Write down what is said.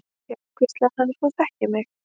Já, hvíslaði hann, þú þekkir mig.